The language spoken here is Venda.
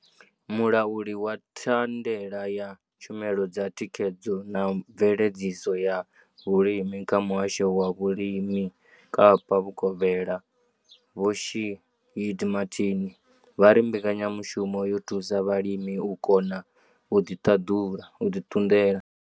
Mulauli wa thandela ya tshumelo dza thikhedzo na mveledziso ya vhulimi kha muhasho wa vhulimi Kapa Vhukovhela Vho Shaheed Martin vha ri mbekanyamushumo yo thusa vhalimi u kona u ḓi ṱunḓela.